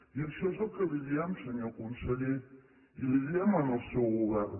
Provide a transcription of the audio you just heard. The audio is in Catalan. i això és el que li diem senyor conseller i ho diem al seu govern